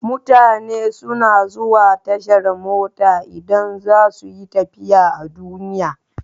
Mutane suna zuwa tashar mota idan za su yi tafiya a duniya.